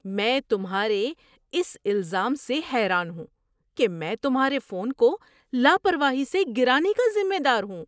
میں تمہارے اس الزام سے حیران ہوں کہ میں تمہارے فون کو لاپرواہی سے گرانے کا ذمہ دار ہوں۔